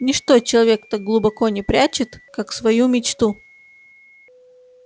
ничто человек так глубоко не прячет как свою мечту